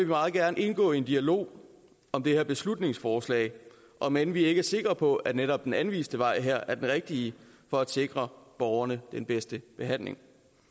meget gerne indgå i en dialog om det her beslutningsforslag om end vi ikke er sikre på at netop den anviste vej her er den rigtige for at sikre borgerne den bedste behandling